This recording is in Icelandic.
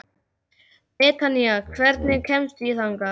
Betanía, hvernig kemst ég þangað?